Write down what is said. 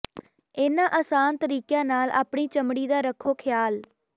ਇਹਨਾਂ ਆਸਾਨ ਤਰੀਕਿਆਂ ਨਾਲ ਆਪਣੀ ਚਮੜੀ ਦਾ ਰੱਖੋ ਖਿਆਲ